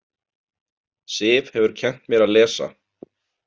Sif hefur kennt mér að lesa.